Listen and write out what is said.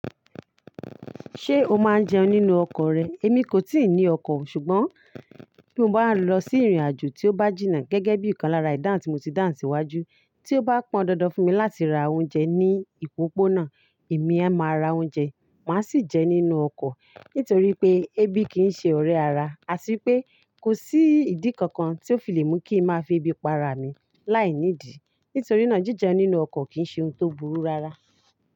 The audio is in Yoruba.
Ṣé o máa ń jẹun nínú ọkọ̀ rẹ? Èmi kò tíì ní ọkọ̀, ṣùgbọ́n bí mo bá lọ sí ìrìnàjò tí ó bá jìnnà gẹ́gẹ́ bí ìkan lára ìdáhùn tí mo ti dáhùn síwájú, tí ó bá pọn dandan fún mi láti ra oúnjẹ ní ìpópónà, èmi ẹ máa ra oúnjẹ, màá sì jẹ nínú ọkọ̀. Nítorí pé ebi kì í ṣe ọ̀rẹ́ ara, àtí pé kò sí ìdí kankan tí ó fi lè mú kí n máa fi ebi pa ara mi láìní ìdí. Nítorí náà, jí jẹun nínú ọkọ̀ kì í ṣe ohun tó burú rárá.